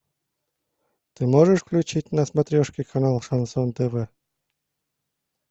ты можешь включить на смотрешке канал шансон тв